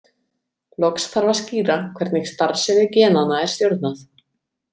Loks þarf að skýra hvernig starfsemi genanna er stjórnað.